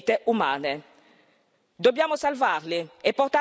Dobbiamo salvarli e portarli nel primo porto sicuro.